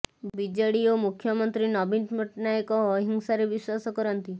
BJD ଓ ମୁଖ୍ୟମନ୍ତ୍ରୀ ନବୀନ ପଟ୍ଟନାୟକ ଅହିଂସାରେ ବିଶ୍ୱାସ କରନ୍ତି